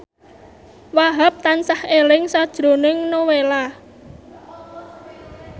Wahhab tansah eling sakjroning Nowela